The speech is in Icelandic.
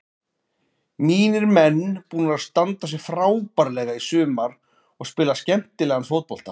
Mínir menn búnir að standa sig frábærlega í sumar og spila skemmtilegan fótbolta.